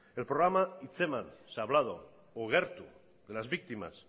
el programa hitz eman o gertu de las víctimas